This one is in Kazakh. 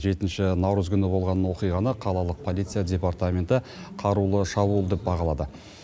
жетінші наурыз күні болған оқиғаны қалалық полиция департаменті қарулы шабуыл деп бағалады